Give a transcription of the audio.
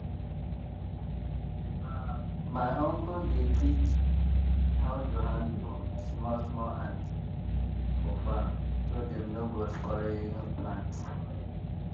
my uncle dey teach how to handle small small ant for farm so dem no go spoil plant.